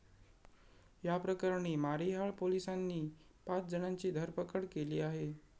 या प्रकरणी मारिहाळ पोलिसांनी पाच जणांची धरपकड केली आहे.